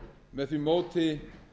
með því móti